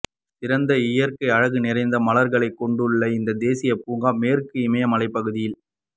சிறந்த இயற்கை அழகு நிறைந்த மலர்களை கொண்டுள்ள இந்த தேசியப் பூங்கா மேற்கு இமயமலைப் பகுதியில்